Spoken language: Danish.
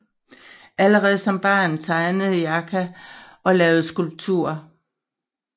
Allerede som barn tegnede Yerka og lavede skulpturer